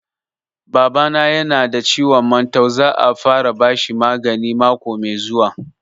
Baba na ya na da ciwon mantau, za a fara bashi magani mako mai zuwa